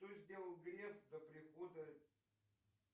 что сделал греф до прихода